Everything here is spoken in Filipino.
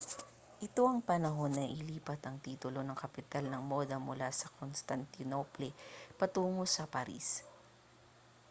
ito ang panahon na nailipat ang titulo ng kapital ng moda mula sa constantinople patungo sa paris